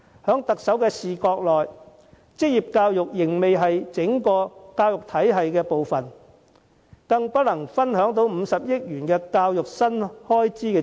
從特首的角度，職業教育仍不屬於教育體系的一部分，無法受惠於50億元的教育新資源。